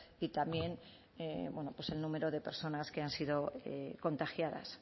y también bueno pues el número de personas que han sido contagiadas